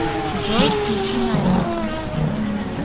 джой включи наив